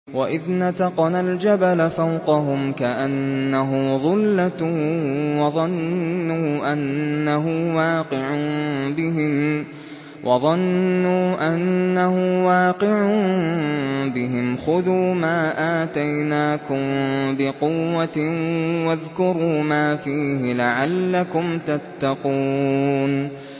۞ وَإِذْ نَتَقْنَا الْجَبَلَ فَوْقَهُمْ كَأَنَّهُ ظُلَّةٌ وَظَنُّوا أَنَّهُ وَاقِعٌ بِهِمْ خُذُوا مَا آتَيْنَاكُم بِقُوَّةٍ وَاذْكُرُوا مَا فِيهِ لَعَلَّكُمْ تَتَّقُونَ